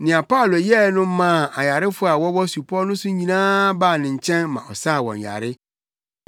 Nea Paulo yɛe no maa ayarefo a wɔwɔ supɔw no so no nyinaa baa ne nkyɛn ma ɔsaa wɔn yare.